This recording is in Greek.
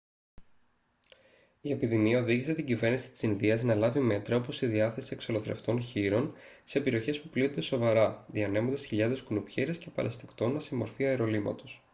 η επιδημία οδήγησε την κυβέρνηση της ινδίας να λάβει μέτρα όπως η διάθεση εξολοθρευτών χοίρων σε περιοχές που πλήττονται σοβαρά διανέμοντας χιλιάδες κουνουπιέρες και παρασιτοκτόνα σε μορφή αερολύματος